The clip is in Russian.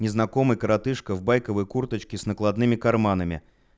незнакомый коротышка в байковой курточке с накладными карманами